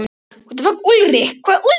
Hann hét Ulrich.